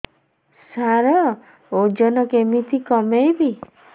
ସାର ଓଜନ କେମିତି କମେଇବି